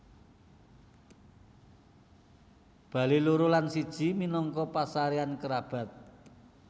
Bale loro lan siji minangka pasareyan kerabat